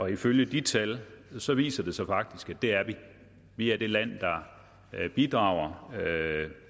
ifølge de tal viser viser det sig faktisk at det er vi vi er det land der bidrager